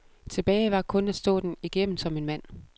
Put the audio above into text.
Tilbage var kun at stå den igennem som en mand.